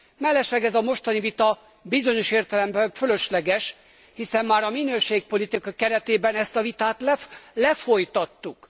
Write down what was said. Mellesleg ez a mostani vita bizonyos értelemben fölösleges, hiszen már a minőségpolitika keretében ezt a vitát lefolytattuk.